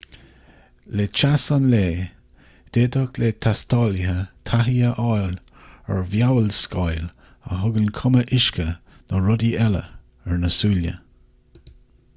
le teas an lae d'fhéadfadh le taistealaithe taithí a fháil ar mheabhalscáil a thugann cuma uisce nó rudaí eile ar na súile